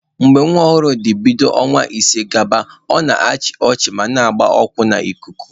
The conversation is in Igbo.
Mgbe nwa ọhụrụ dị bido ọnwa ise gaba, ọ na-achị ọchị ma na-agba ụkwụ n'ikuku.